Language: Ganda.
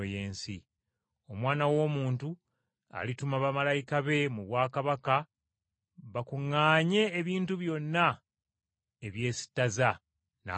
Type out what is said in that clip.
Omwana w’Omuntu alituma bamalayika be mu bwakabaka bakuŋŋaanye ebintu byonna ebyesittaza, n’abajeemu,